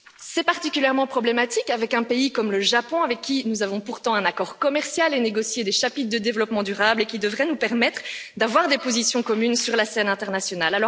C'est particulièrement problématique avec un pays comme le Japon, avec qui nous avons pourtant conclu un accord commercial et négocié des chapitres de développement durable, qui devraient nous permettre d'avoir des positions communes sur la scène internationale.